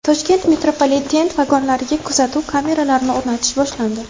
Toshkent metropoliteni vagonlariga kuzatuv kameralarini o‘rnatish boshlandi.